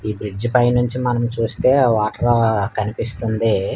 ఈ బ్రిడ్జ్ పైనుంచి మనం చూస్తే ఆ వాటరూ కనిపిస్తుంది.